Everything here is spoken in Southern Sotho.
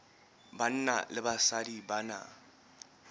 banna le basadi ba na